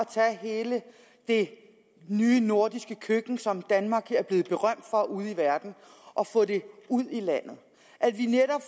tage hele det nye nordiske køkken som danmark er blevet berømt for ude i verden og få det ud i landet at vi netop